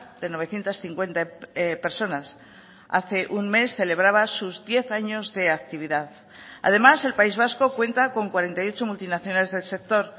de novecientos cincuenta personas hace un mes celebraba sus diez años de actividad además el país vasco cuenta con cuarenta y ocho multinacionales del sector